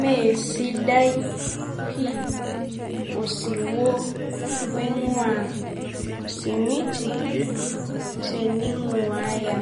Mee sidai pii osiwuo oing'ua osimiti tening'uaya